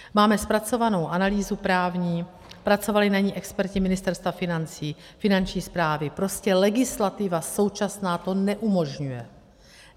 Máme zpracovanou analýzu právní, pracovali na ní experti Ministerstva financí, Finanční správy, prostě legislativa současná to neumožňuje.